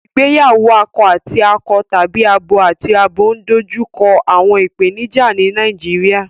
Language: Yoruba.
Ìgbéyàwó akọ àti akọ tàbí abo àti abo ń dojú kọ àwọn ìpèníjà ní Nàìjíríà